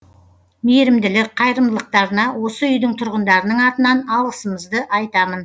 мейірімділік қайырымдылықтарына осы үйдің тұрғындарының атынан алғысымызды айтамын